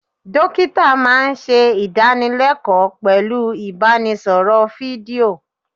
Dókítà máa ń ṣe idanilekoo pẹ̀lú ibanisoro fídíò.